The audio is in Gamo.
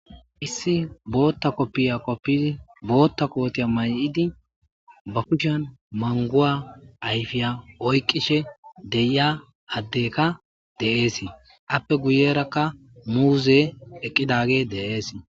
Issi bootta kopiya wottidi boota koota mayidi ba kushiyan manvuwa ayfiya oykidi de'iyasi deesi. Aappe guye bagara muuze eqqidagey dees.